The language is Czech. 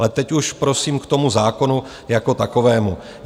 Ale teď už prosím k tomu zákonu jako takovému.